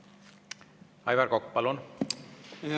Aivar Kokk, palun!